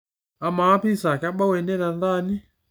amaa piza kebau ene tentaani